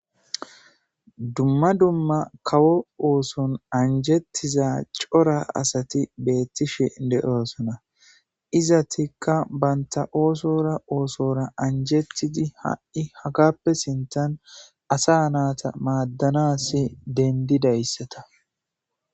Dumma dumma kawo ooson anjettiza cora asati beettishe de7oosana izatikka baynta oosora oosora anjettidi ha7i hagappe sintan asa naata maaddanasi dendidayssata.